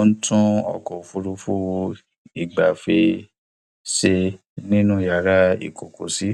ó ń tún ọkọ òfuurufú ìgbafẹ ṣe nínú yàrá ìkọkọsí